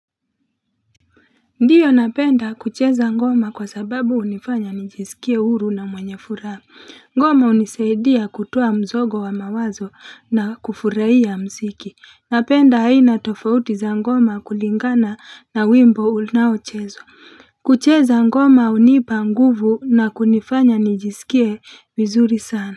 Ndiyo napenda kucheza ngoma kwa sababu hunifanya nijisikie huru na mwenye furaha. Ngoma hunisaidia kutoa mzogo wa mawazo na kufurahia mziki. Napenda aina tofauti za ngoma kulingana na wimbo unaochezwa. Kucheza ngoma hunipa nguvu na kunifanya nijiskie vizuri sana.